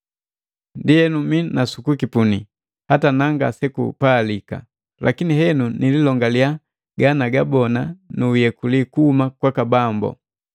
Ndienu minasukukipuni, hata na ngasekupalika! Lakini henu niilongaliya ganagabona nu uyekuliwa kuhuma kwaka Bambu.